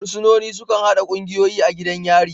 Fursunoni sukan haɗa ƙungiyoyi a gidan yari.